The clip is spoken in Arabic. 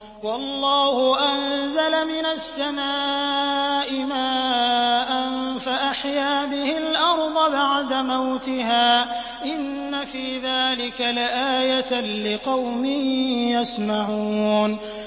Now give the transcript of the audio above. وَاللَّهُ أَنزَلَ مِنَ السَّمَاءِ مَاءً فَأَحْيَا بِهِ الْأَرْضَ بَعْدَ مَوْتِهَا ۚ إِنَّ فِي ذَٰلِكَ لَآيَةً لِّقَوْمٍ يَسْمَعُونَ